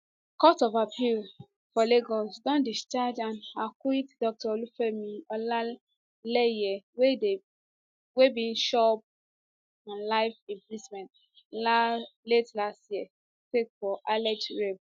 court of appeal um for lagos don discharge and acquit dr olufemi olaeleye wey bin chop um life imprisonment late last year sake of alleged rape